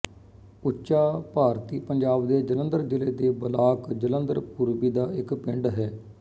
ਉੱਚਾ ਭਾਰਤੀ ਪੰਜਾਬ ਦੇ ਜਲੰਧਰ ਜ਼ਿਲ੍ਹੇ ਦੇ ਬਲਾਕ ਜਲੰਧਰ ਪੂਰਬੀ ਦਾ ਇੱਕ ਪਿੰਡ ਹੈ